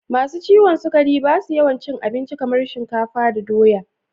masu ciwon sukari ba su yawan cin abinci kamar shinkafa da doya